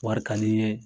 Wari ka di n ye